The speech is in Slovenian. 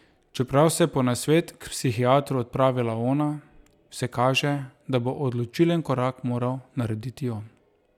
Čeprav se je po nasvet k psihiatru odpravila ona, vse kaže, da bo odločilen korak moral narediti on.